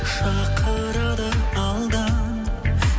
шақырады алдан